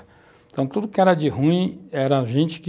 Então, tudo que era de ruim era gente que